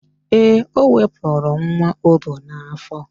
Ee, o wepuru nwa o bu n'afọ